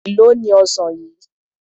Èló ni ọsàn yìí?